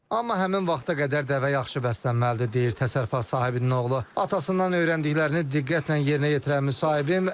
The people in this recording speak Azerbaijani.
Amma həmin vaxta qədər dəvə yaxşı bəslənməlidir", - deyir təsərrüfat sahibinin oğlu, atasından öyrəndiklərini diqqətlə yerinə yetirən müsahibim.